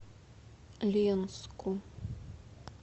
ленску